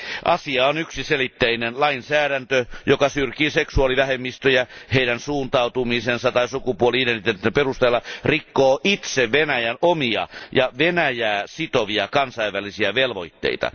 Asia on yksiselitteinen lainsäädäntö, joka syrjii seksuaalivähemmistöjä heidän suuntautumisensa tai sukupuoli identiteettinsä perusteella, rikkoo itse Venäjän omia ja Venäjää sitovia kansainvälisiä velvoitteita.